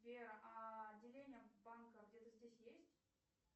сбер а отделение банка где то здесь есть